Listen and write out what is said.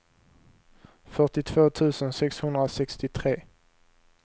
fyrtiotvå tusen sexhundrasextiotre